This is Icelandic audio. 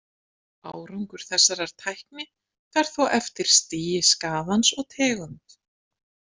Árangur þessarar tækni fer þó eftir stigi skaðans og tegund.